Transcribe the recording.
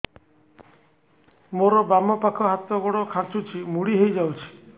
ମୋର ବାମ ପାଖ ହାତ ଗୋଡ ଖାଁଚୁଛି ମୁଡି ହେଇ ଯାଉଛି